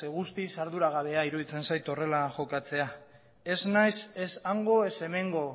guztiz arduragabea iruditzen zait horrela jokatzea ez naiz ez hango ez hemengo